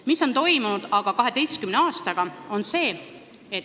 Mis on aga 12 aastaga toimunud?